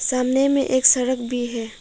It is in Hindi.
सामने में एक सड़क भी है।